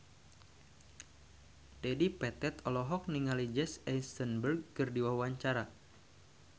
Dedi Petet olohok ningali Jesse Eisenberg keur diwawancara